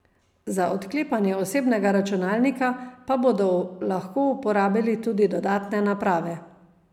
Za odklepanje osebnega računalnika, pa bodo lahko uporabili tudi dodatne naprave.